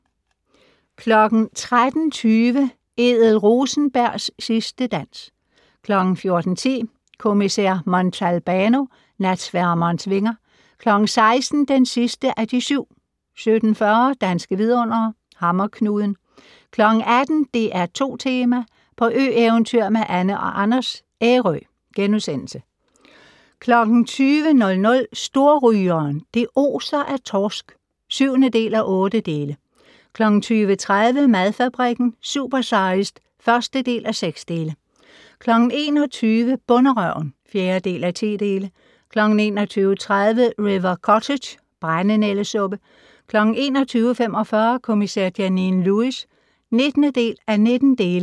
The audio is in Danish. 13:20: Ethel Rosenbergs sidste dans 14:10: Kommissær Montalbano: Natsværmerens vinger 16:00: Den sidste af de syv 17:40: Danske vidundere: Hammerknuden 18:00: DR2 Tema: På ø-eventyr med Anne & Anders - Ærø * 20:00: Storrygeren - det oser af torsk (7:8) 20:30: Madfabrikken - Supersized (1:6) 21:00: Bonderøven (4:10) 21:30: River Cottage - brændenældesuppe 21:45: Kommissær Janine Lewis (19:19)